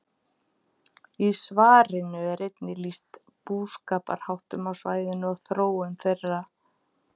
Í svarinu er einnig lýst búskaparháttum á svæðinu og þróun þeirra.